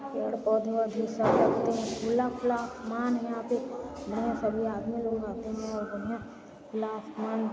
पेड़ पौधे औधे सब दिखाते हैं खुला खुला आसमान है यहां पर बहुत सभी आदमी लोग आते हैं खुला आसमान--